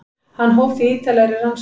Hann hóf því ítarlegri rannsókn.